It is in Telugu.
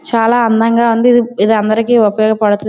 చాలా అందంగా ఉన్నది. ఇది అందరికి ఉపయోగపడుతు --